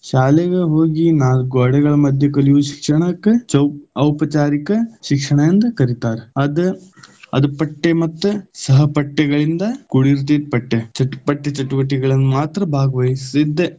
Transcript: ಶಾಲೆಗೆ ಹೋಗಿ ನಾಲ್ಕು ಗ್ವಾಡೆಗಳ ಮಧ್ಯೆ ಕಲಿಯುವ ಶಿಕ್ಷಣಕ್ಕ ಚೌಕ ಔಪಚಾರಿಕ ಶಿಕ್ಷಣ ಎಂದ ಕರಿತಾರ. ಅದ, ಅದ ಪಟ್ಟೆ ಮತ್ತು ಸಹಪಟ್ಟೆಗಳಿಂದ ಕೂಡಿರ್ತೈತಿ, ಪಠ್ಯ ಚಟುವಟಿಕೆಗಳಲ್ಲಿ ಮಾತ್ರ ಭಾಗವಹಿಸ್ದೆ.